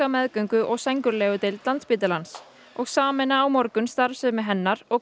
meðgöngu og sængurlegudeild Landspítalans og sameina á morgun starfsemi hennar og